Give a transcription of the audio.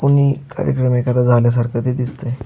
कोणी कार्यक्रम एकदा झाल्यासारख ते दिसत आहे.